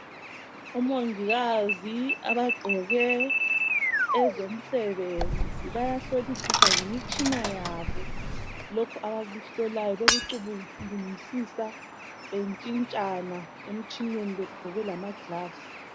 Omongikazi abagqoke ezomsebenzi bayahlolisisa ngemitshina yabo lokhu abakuhlolayo, bekucubungulisisa bentshintshana emtshineni begqoke lama glavs.